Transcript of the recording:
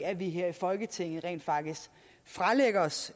at vi her i folketinget rent faktisk fralægger os